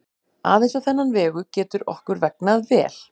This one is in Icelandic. Aðeins á þennan vegu getur okkur vegnað vel.